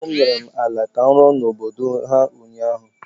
ndị ọgọ m nyere m ala ka m rụọ n’obodo ha ụnyahụ